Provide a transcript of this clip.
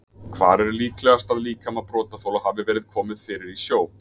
Hvar er líklegast að líkama brotaþola hafi verið komið fyrir í sjó?